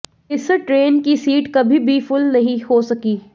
इस ट्रेन की सीट कभी भी फुल नहीं हो सकी